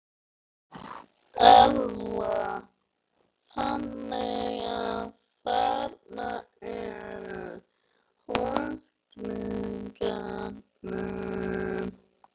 Erla: Þannig að þarna eru reikningarnir?